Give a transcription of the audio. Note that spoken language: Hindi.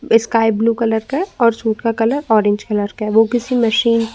स्काई ब्लू कलर का और सूट का कलर ऑरेंज कलर का है वो किसी मशीन --